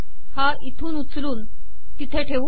हा इथून उचलून तिथे ठेवू